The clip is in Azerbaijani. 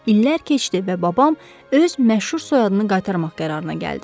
İllər keçdi və babam öz məşhur soyadını qaytarmaq qərarına gəldi.